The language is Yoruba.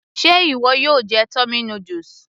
Ṣe ìwọ yóò jẹ tummy noodles